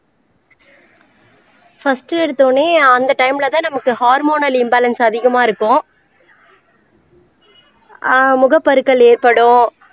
first எடுத்தவுடனே அந்த டைம்லதான் நமக்கு ஹோர்மோனல் இம்பாலன்ஸ் அதிகமா இருக்கும் ஆஹ் முகப்பருக்கள் ஏற்படும்